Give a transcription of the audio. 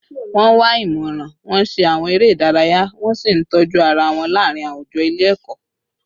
Wọ́n wá ìmọ̀ràn, wọ́n ṣe àwọn eré ìdárayá, wọ́n sì ń tọ́jú ara wọn láàárín àwùjọ ilé ẹ̀kọ́